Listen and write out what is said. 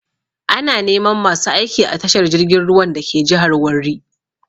Ana neman masu aiki a tashar jirgin ruwan dake jihar Warri.